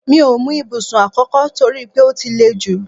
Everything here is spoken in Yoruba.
Mi ò mú ibùsùn àkókò toripe ó ti lè jú